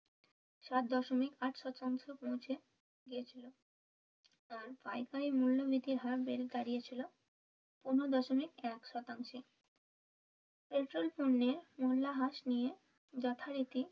সাত দশমিক আট শতাংশ পৌঁছে গেছিল আর পাইকারীর মূল্য বৃদ্ধির হার বেড়ে দাঁড়িয়েছিল পনেরো দশমিক এক শতাংশে পেট্রল পণ্যের মূল্য হ্রাস নিয়ে যথারীতি,